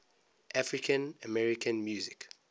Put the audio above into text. african american music